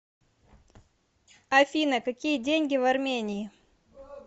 афина какие деньги в армении